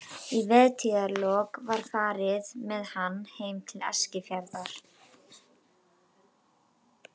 Í vertíðarlok var farið með hann heim til Eskifjarðar.